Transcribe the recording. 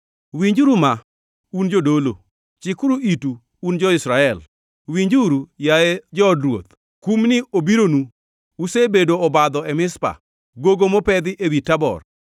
“Winjuru ma, un jodolo! Chikuru itu, un jo-Israel! Winjuru, yaye jood ruoth! Kumni obironu: Usebedo obadho e Mizpa, gogo mopedhi ewi Tabor.